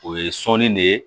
O ye sɔɔni de ye